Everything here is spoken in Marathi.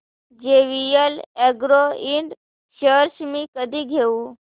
जेवीएल अॅग्रो इंड शेअर्स मी कधी घेऊ